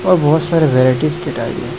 बहोत सारे वैराइटीज की टाइल--